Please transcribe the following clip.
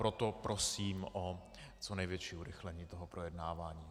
Proto prosím o co největší urychlení toho projednávání.